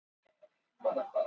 Hljóðfæraleikarar voru fleiri